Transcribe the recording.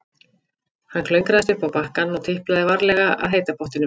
Hann klöngraðist upp á bakkann og tiplaði varlega að heita pottinum.